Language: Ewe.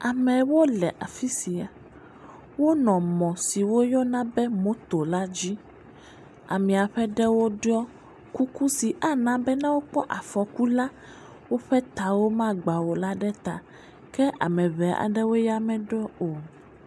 Amewo le afi sia wonɔ mɔ si woyɔna moto la dzi amea ƒe ɖewo ɖɔ kuku si ne wokpɔ afɔku la woƒe tawo ma agba o ɖe ta ke ame ʋe aɖewo ya meɖɔ o